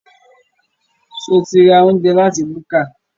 Ṣo ti ra oúnjẹ láti búkà?